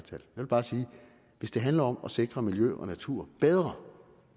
vil bare sige at hvis det handler om at sikre miljø og natur bedre